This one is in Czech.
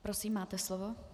Prosím, máte slovo.